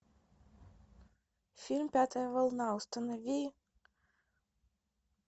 фильм пятая волна установи